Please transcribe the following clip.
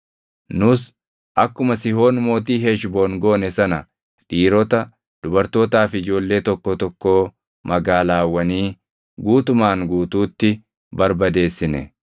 Nus akkuma Sihoon mootii Heshboon goone sana dhiirota, dubartootaa fi ijoollee tokkoo tokkoo magaalaawwanii guutumaan guutuutti barbadeessine.